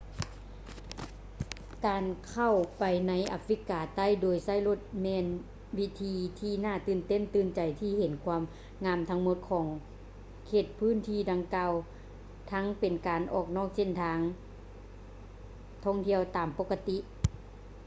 ການເຂົ້າໄປໃນອາຟຣິກາໃຕ້ໂດຍໃຊ້ລົດແມ່ນວິທີທີ່ໜ້າຕື່ນຕາຕື່ນໃຈທີ່ຈະເຫັນຄວາມງາມທັງໝົດຂອງເຂດພາກພື້ນດັ່ງກ່າວທັງເປັນການອອກນອກເສັ້ນທາງທ່ອງທ່ຽວຕາມປົກກະຕິ